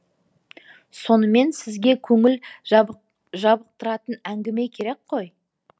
сонымен сізге көңіл жабықтыратын әңгіме керек қой